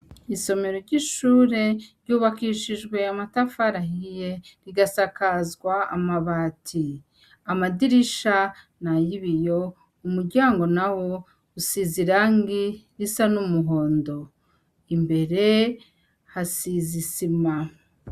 Isomero ry'ishure ryubakishijwe amatafari ahiye rigasakazwa amabati, amadirisha nay'ibiyo, umuryango na wo usize irangi risa n'umuhondo, imbere hasize isima.